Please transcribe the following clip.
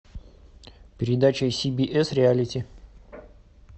передача си би эс реалити